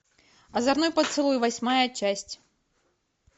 озорной поцелуй восьмая часть